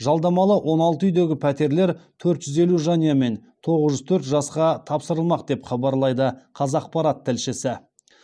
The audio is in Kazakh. жалдамалы он алты үйдегі пәтерлер төрт жүз елу жанұя мен тоғыз жүз төрт жасқа тапсырылмақ деп хабарлайды қазақпарат тілшісі